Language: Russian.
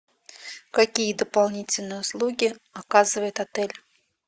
какие дополнительные услуги оказывает отель